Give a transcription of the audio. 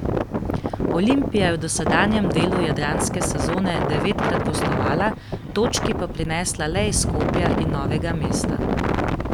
Olimpija je v dosedanjem delu jadranske sezone devetkrat gostovala, točki pa prinesla le iz Skopja in Novega mesta.